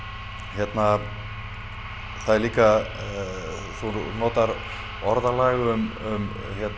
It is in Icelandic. hérna það er líka þú notar orðalag um